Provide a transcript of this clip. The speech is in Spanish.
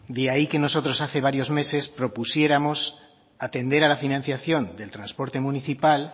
de ahí que nosotros hace varios meses propusiéramos atender a la financiación del transporte municipal